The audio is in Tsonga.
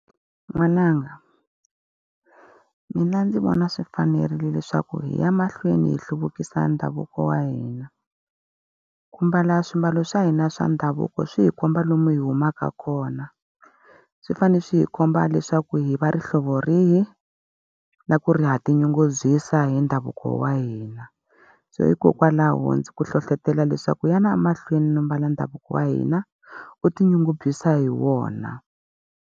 N'wananga, mina ndzi vona swi fanerile leswaku hi ya mahlweni hi hluvukisa ndhavuko wa hina. Ku mbala swimbalo swa hina swa ndhavuko swi hi komba lomu hi humaka kona, swi fanele swi hi komba leswaku hi va ri hlovo rihi, na ku ri ha tinyungubyisa hi ndhavuko wa hina. So hikokwalaho ndzi ku hlohlotelo leswaku yana mahlweni no mbala ndhavuko wa hina, u tinyungubyisa hi wona.